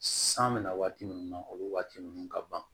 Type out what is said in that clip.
San bɛna waati min na o waati ninnu ka ban